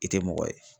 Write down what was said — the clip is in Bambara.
I tɛ mɔgɔ ye